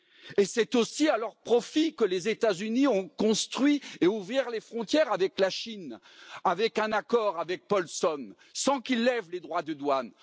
Et c'est aussi à leur profit que les États Unis ont construit et ouvert les frontières avec la Chine, avec un accord, avec Paulson, sans qu'ils lèvent de droits de douane.